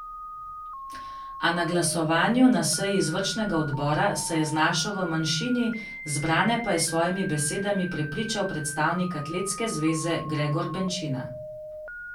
A na glasovanju na seji izvršnega odbora se je znašel v manjšini, zbrane pa je s svojimi besedami prepričal predstavnik atletske zveze Gregor Benčina.